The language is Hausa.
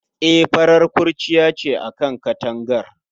E, farar kurciya ce a kan katangar